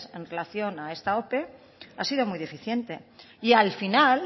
en relación a esta ope ha sido muy deficiente y al final